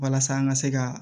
Walasa an ka se ka